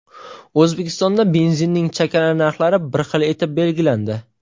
O‘zbekistonda benzinning chakana narxlari bir xil etib belgilandi.